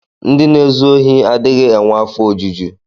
Ndị na-ezu ohi adịghị enwe afọ ojuju.